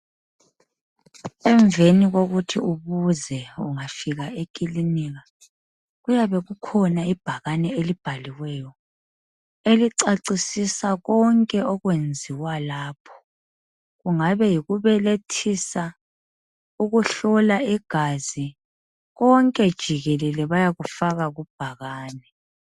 Emveni kokuthi ubuze ungafika eklinika kuyabe kukhona ibhakane elibhaliweyo elicacisisa konke okwenziwa lapho kungabe yikubelethisa ukuhlola igazi konke jikelele bayakufaka kubhakane